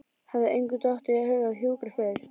Hafði engum dottið í hug að hjúkra fyrr?